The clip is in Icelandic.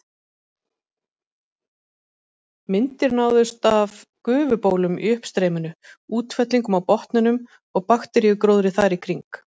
Myndir náðust af gufubólum í uppstreyminu, útfellingum á botninum og bakteríugróðri þar í kring.